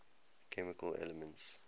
chemical elements